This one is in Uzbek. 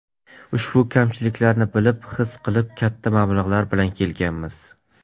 Ushbu kamchiliklarni bilib, his qilib, katta mablag‘ bilan kelganmiz.